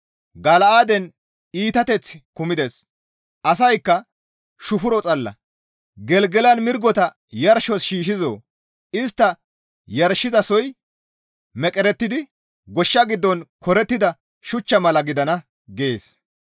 Gala7aaden iitateththi kumides; asaykka shufuro xalla. Gelgelan mirgota yarshos shiishshizoo? Istta yarshizasoy meqerettidi goshsha giddon korettida shuchcha mala gidana» gees.